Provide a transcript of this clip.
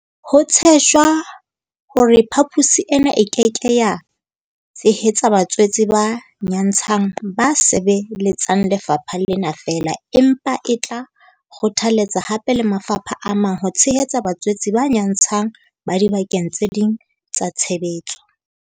Ho tshejwa hore phaposi ena e ke ke ya tshehetsa batswetse ba nyantshang ba sebeletsang lefapha lena feela, empa e tla kgothaletsa hape le mafapha a mang ho tshehetsa batswetse ba nyatshang ba dibakeng tse ding tsa tshebetso.